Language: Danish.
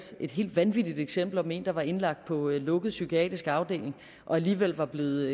et helt vanvittigt eksempel om en der var indlagt på en lukket psykiatrisk afdeling og alligevel var blevet